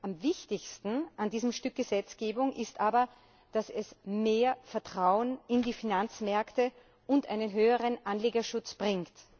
Am wichtigsten an diesem Stück Gesetzgebung ist aber, dass es mehr Vertrauen in die Finanzmärkte und einen höheren Anlegerschutz bringt.